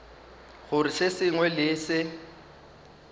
gore se sengwe le se